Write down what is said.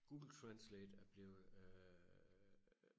Google Translate er blevet øh